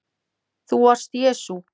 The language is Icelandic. ÞÚ VARST JESÚ